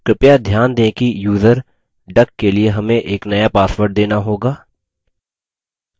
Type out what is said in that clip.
कृपया ध्यान दें कि यूज़र duck के लिए हमें एक नया password देना होगा